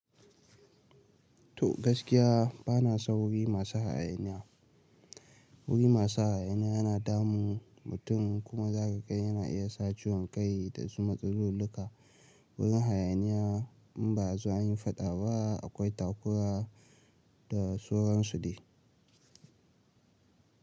To gaskiya bana son wuri masu hayaniya. Wuri masu hayaniya yana damu mutum kuma zakaga yana iya sa ciwon kai da su matsalolika wurin hayaniya in ba zo an yi faɗa ba akwai takura da sauan su dai.